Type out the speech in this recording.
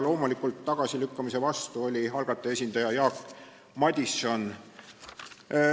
Loomulikult oli tagasilükkamise vastu algataja esindaja Jaak Madison.